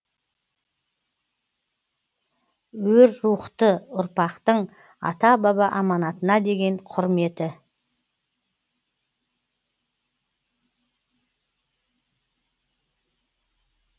өр рухты ұрпақтың ата баба аманатына деген құрметі